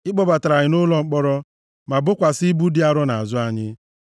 Ị kpọbatara anyị nʼụlọ mkpọrọ, ma bokwasị ibu dị arọ nʼazụ anyị.